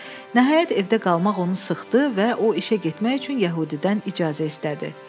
Nəhayət, evdə qalmaq onu sıxdı və o işə getmək üçün Yəhudidən icazə istədi.